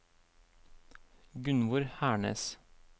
Gunvor Hernes